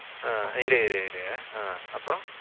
ஆ இரு இரு இரு ஆ அப்புறம்